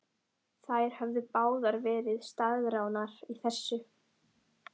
Þær höfðu báðar verið staðráðnar í þessu.